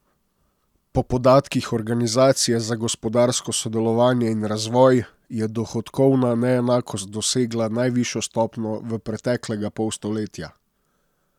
Po podatkih Organizacije za gospodarsko sodelovanje in razvoj je dohodkovna neenakost dosegla najvišjo stopnjo v preteklega pol stoletja.